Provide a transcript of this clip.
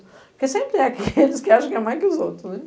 Porque sempre é aqueles que acham que é mais que os outros, né?